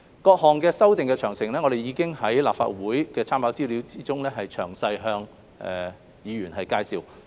各項修訂的詳情，我們已在立法會參考資料中詳細向議員介紹。